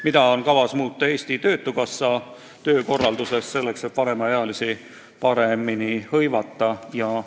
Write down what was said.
Mida on kavas muuta Eesti Töötukassa töökorralduses, et vanemaealisi paremini hõivata?